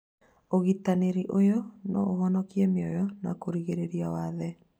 Ũrigitani ũyũ no ũhonokie mĩoyo na kũgirĩrĩria wathe